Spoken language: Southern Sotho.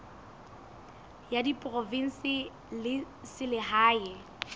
ya diprovense le ya selehae